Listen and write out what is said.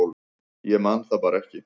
Ég man það bara ekki